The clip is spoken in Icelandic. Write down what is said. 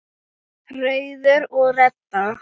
Rauður og Redda